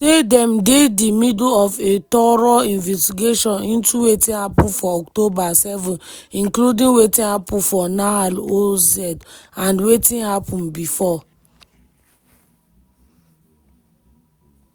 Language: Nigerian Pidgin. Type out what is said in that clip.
say dem dey di middle of a “thorough investigation into wetin happun for october 7th including wetin happun for nahal oz and wetin happun bifor”.